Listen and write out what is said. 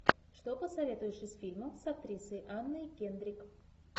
что посоветуешь из фильмов с актрисой анной кендрик